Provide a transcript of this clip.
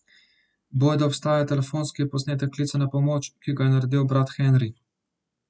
Bojda obstaja telefonski posnetek klica na pomoč, ki ga je naredil brat Henri.